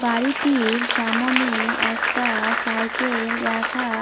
বাড়িটির সামোনে একটা-আ সাইকেল রাখা--